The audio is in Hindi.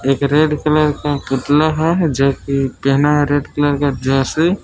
एक रेड कलर का पुतला है जो कि पहना है रेड कलर का जर्सी ।